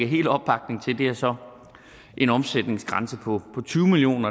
helt opbakning til er så en omsætningsgrænse på tyve million